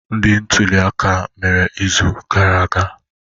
Ndi ntuli aka mere izu gara aga?